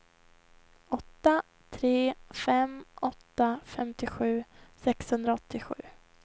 åtta tre fem åtta femtiosju sexhundraåttiosju